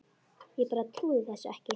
Ég bara trúði þessu ekki.